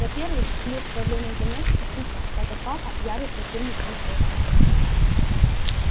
во-первых флирт во время занятий исключён так как папа ярый противник инцеста